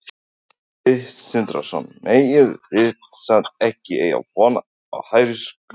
Sindri Sindrason: Megum við samt ekki eiga von á hærri sköttum?